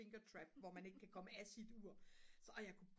finger trap hvor man ikke kan komme af sit ur så og jeg kunne